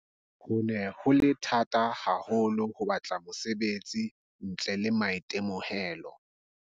Ho ne ho le thata haho lo ho batla mosebetsi ntle le maitemohelo.